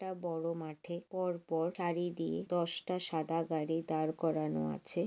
একটা বড় মাঠে পরপর সারি দিয়ে দশটা সাদা গাড়ি দাঁড় করানো আছে।